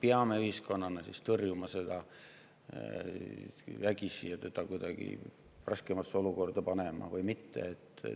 Kas me ühiskonnana peame seda vägisi tõrjuma ja teda kuidagi raskemasse olukorda panema või mitte?